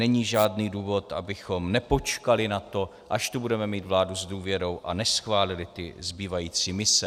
Není žádný důvod, abychom nepočkali na to, až tu budeme mít vládu s důvěrou, a neschválili ty zbývající mise.